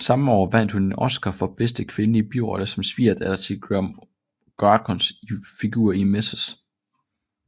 Samme år vandt hun en Oscar for bedste kvindelige birolle som svigerdatter til Greer Garsons figur i Mrs